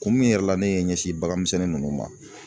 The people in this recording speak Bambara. Kun min yɛrɛ la ne ye n ɲɛsin bagan misɛnnin ninnu ma